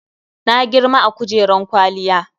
Na girma a kujeran kwaliyya.